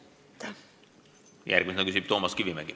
Järgmisena küsib Toomas Kivimägi.